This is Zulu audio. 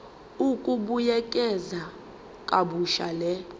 ukubuyekeza kabusha le